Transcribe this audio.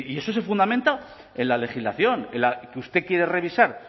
eso se fundamenta en la legislación que usted quiere revisar